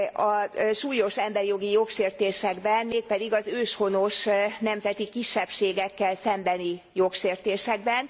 a súlyos emberi jogi jogsértésekben, mégpedig az őshonos nemzeti kisebbségekkel szembeni jogsértésekben.